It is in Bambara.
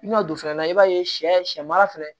I ma don fɛnɛ na i b'a ye sɛ sɛ sɛ mara fɛnɛ